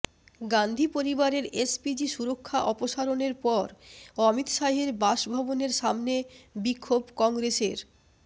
গান্ধী পরিবারের এসপিজি সুরক্ষা অপসারণের পর অমিত শাহের বাসভবনের সামনে বিক্ষোভ কংগ্রেসের